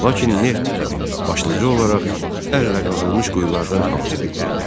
Lakin neft başlıca olaraq əllə qazılmış quyulardan hasil edilirdi.